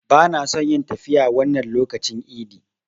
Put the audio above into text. Bana son yin tafiya wannan lokacin idi.